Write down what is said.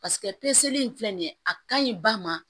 Paseke in filɛ nin ye a ka ɲi ba ma